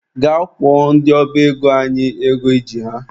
Gaa kwụọ ndị ọba ego anyị ego I ji ha!.